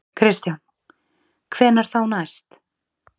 Kristján: Hvenær þá næst?